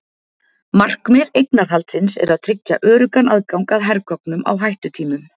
Markmið eignarhaldsins er að tryggja öruggan aðgang að hergögnum á hættutímum.